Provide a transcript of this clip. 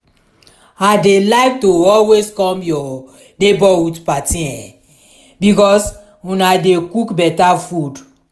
i dey like to always come your neighborhood party eh because una dey cook better food.